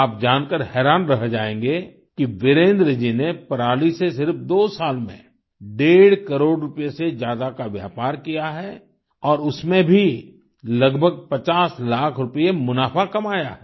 आप जानकर हैरान रह जाएंगे कि वीरेन्द्र जी ने पराली से सिर्फ दो साल में डेढ़ करोड़ रुपए से ज्यादा का व्यापार किया है और उसमें भी लगभग 50 लाख रुपये मुनाफा कमाया है